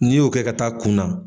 N'i y'o kɛ ka taa kun na.